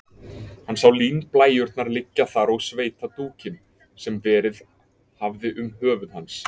Hann sá línblæjurnar liggja þar og sveitadúkinn, sem verið hafði um höfuð hans.